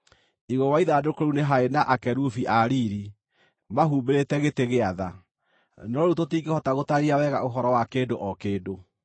Igũrũ wa ithandũkũ rĩu nĩ haarĩ na akerubi a Riiri, mahumbĩrĩte gĩtĩ-gĩa-tha. No rĩu tũtingĩhota gũtaarĩria wega rĩu ũhoro wa kĩndũ o kĩndũ.